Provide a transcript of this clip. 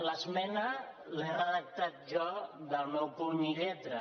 l’esmena l’he redactat jo del meu puny i lletra